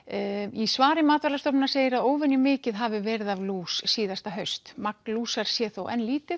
í svari MAST segir að óvenju mikið hafi verið af lús síðasta haust magn lúsar sé þó enn lítið